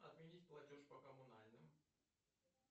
отменить платеж по коммунальным